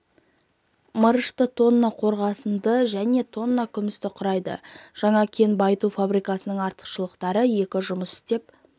мырышты тонна қорғасынды және тонна күмісті құрайды жаңа кен байыту фабрикасының артықшылықтары екі жұмыс істеп